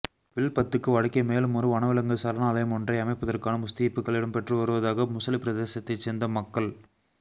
வில்பத்துக்கு வடக்கே மேலுமொரு வனவிலங்கு சரணாலயமொன்றை அமைப்பதற்கான முஸ்தீபுகள் இடம்பெற்றுவருவதாக முசலிப்பிரதேசத்தைச் சேர்ந்த மக்கள்